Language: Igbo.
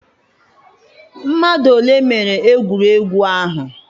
mmadụ ole mere egwuregwu ahụ?